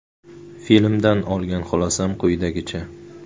Filmdan olgan xulosam quyidagicha.